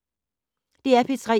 DR P3